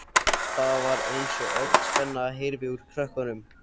Það var eins og öll spenna hyrfi úr krökkunum.